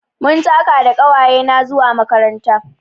Mun taka da ƙawayena zuwa makaranta.